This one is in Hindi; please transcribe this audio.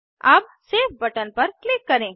अब सेव बटन पर क्लिक करें